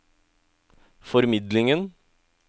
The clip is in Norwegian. formidlingen